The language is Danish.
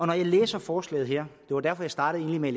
når jeg læser forslaget her det var derfor jeg startede med